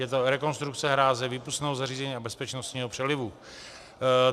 Je to rekonstrukce hráze, výpustného zařízení a bezpečnostního přelivu.